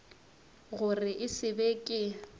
gore e se be ke